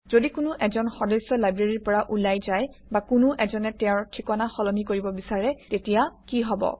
যদি কোনো এজন সদস্য লাইব্ৰেৰীৰ পৰা ওলাই যায় বা কোনো এজনে তেওঁৰ ঠিকনা সলনি কৰিব বিচাৰে তেতিয়া কি হব